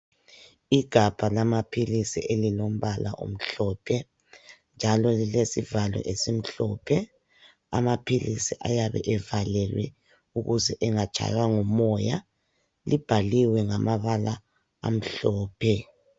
Igabha lamaphilisi elilombala omhlophe, njalo lilesivalo esimhlophe. Amaphilisi ayabe evalelwe ukuze angatshaywa ngumoya. Libhaliwe ngamabala amhlophe.